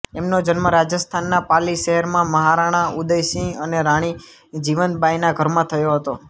એમનો જન્મ રાજસ્થાનના પાલી શહેરમાં મહારાણા ઉદયસિંહ અને રાણી જીવંતબાઈના ઘરમાં થયો હતો